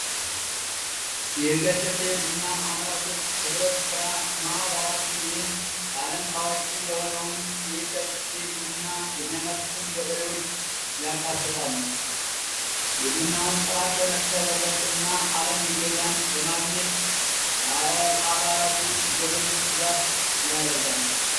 የይርጋ ጨፌ ቡና አምራቾች ህብረት ስራ ማህበር አባላት እንግዲህ በአለም ታዋቂ የሆነውን ይርጋ ጨፌ የሚያመርቱትን ገበሬዎች ያካተታል የቡናውን ጥራት በመጠበቅ እና በማግኘት ለአባላቱ የገበሬዎች ድጋፍ ያደርጋል።